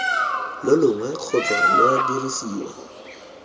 lo longwe kgotsa lwa dirisa